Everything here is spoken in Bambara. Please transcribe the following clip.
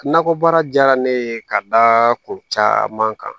Nakɔbaara diyara ne ye ka da kun caman kan